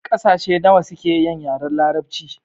Ƙasashe nawa suke yin yaren larabci?